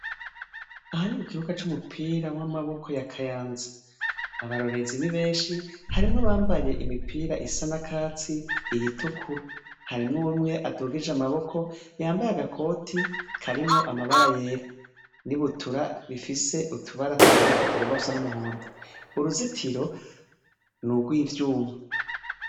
Aha ni mukibuga c’umupira w’amaboko ya Kayanza. Abarorerezi ni benshi, harimw’abambaye imipira isa n’akatsi , iyitukura , har’umwe adugije amaboko yambaye agakoti karimwo amabara yera ,n’ibutura rifise utubara tumanuka tugomba gusa n’umuhondo. Uruzitiro n’ugwivyuma.